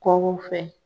Kɔkɔ fɛ